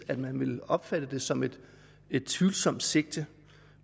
at man vil opfatte det som et et tvivlsomt sigte